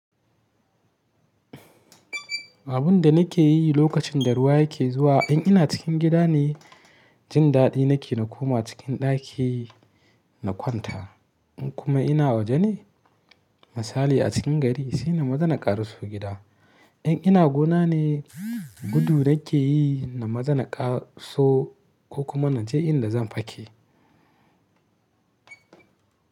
Abin da nake yi lokacin da ruwa yake zuwa, in ina cikin gida ne, jin daɗi nake na koma cikin ɗaki na kwanta. In kuma ina waje ne, misali a cikin gari, sai na mazana ƙarsu gida. In ina gona ne, gudu nake yi na mazana ƙaso ko kuma na je inda zan fake.